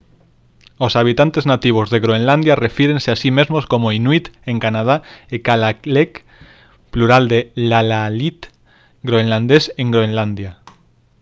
os habitantes nativos de groenlandia refírense a si mesmos como inuit en canadá e kalaalleq plural lalaallit groenlandés en groenlandia